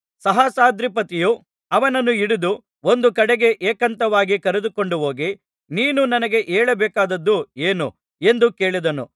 ಸಹಸ್ರಾಧಿಪತಿಯು ಅವನನ್ನು ಕೈಹಿಡಿದು ಒಂದು ಕಡೆಗೆ ಏಕಾಂತವಾಗಿ ಕರೆದುಕೊಂಡು ಹೋಗಿ ನೀನು ನನಗೆ ಹೇಳಬೇಕಾದದ್ದು ಏನು ಎಂದು ಕೇಳಿದನು